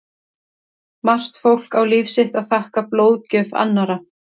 Margt fólk á líf sitt að þakka blóðgjöf annarra.